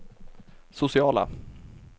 sociala